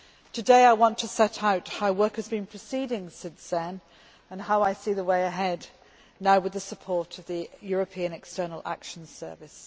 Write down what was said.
Today I want to set out how work has been proceeding since then and how I see the way ahead now with the support of the European External Action Service.